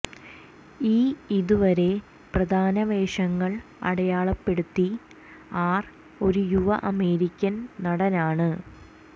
ഈ ഇതുവരെ പ്രധാന വേഷങ്ങൾ അടയാളപ്പെടുത്തി ആർ ഒരു യുവ അമേരിക്കൻ നടൻ ആണ്